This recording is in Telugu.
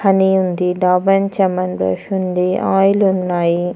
హానీ ఉంది ఉంది ఆయిల్ ఉన్నాయి.